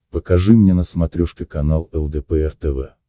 покажи мне на смотрешке канал лдпр тв